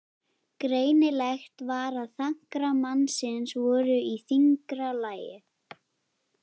Greinilegt var að þankar mannsins voru í þyngra lagi.